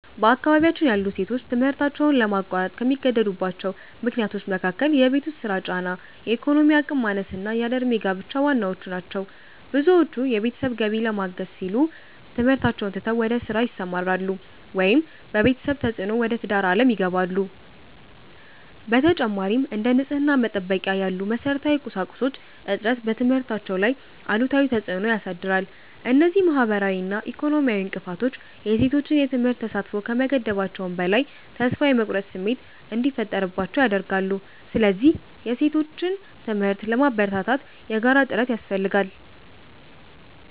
በአካባቢያችን ያሉ ሴቶች ትምህርታቸውን ለማቋረጥ ከሚገደዱባቸው ምክንያቶች መካከል የቤት ውስጥ ሥራ ጫና፣ የኢኮኖሚ አቅም ማነስና ያለ ዕድሜ ጋብቻ ዋናዎቹ ናቸው። ብዙዎቹ የቤተሰብን ገቢ ለማገዝ ሲሉ ትምህርታቸውን ትተው ወደ ሥራ ይሰማራሉ፤ ወይም በቤተሰብ ተፅዕኖ ወደ ትዳር ዓለም ይገባሉ። በተጨማሪም፥ እንደ ንጽሕና መጠበቂያ ያሉ መሠረታዊ ቁሳቁሶች እጥረት በትምህርታቸው ላይ አሉታዊ ተፅዕኖ ያሳድራል። እነዚህ ማኅበራዊና ኢኮኖሚያዊ እንቅፋቶች የሴቶችን የትምህርት ተሳትፎ ከመገደባቸውም በላይ፥ ተስፋ የመቁረጥ ስሜት እንዲፈጠርባቸው ያደርጋሉ። ስለዚህ የሴቶችን ትምህርት ለማበረታታት የጋራ ጥረት ያስፈልጋል።